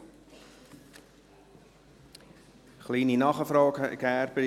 Kleine Nachfrage, Herr Gerber: